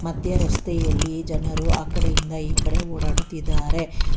ಮದ್ಯ ರಸ್ತೆಯಲ್ಲಿ ಜನರು ಆ ಕಡೆಯಿಂದ ಈ ಕಡೆ ಓಡಾಡುತ್ತಿದ್ದಾರೆ.